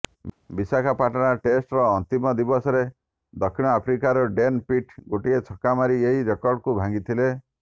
ବିଶାଖାପାଟଣା ଟେଷ୍ଟର ଅନ୍ତିମ ଦିବସରେ ଦକ୍ଷିଣ ଆଫ୍ରିକାର ଡେନ୍ ପିଟ୍ ଗୋଟିଏ ଛକା ମାରି ଏହି ରେକର୍ଡକୁ ଭାଙ୍ଗିଥିଲେ